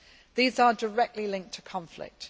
These are directly linked to conflict.